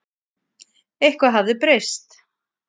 Eitthvað hafði breyst.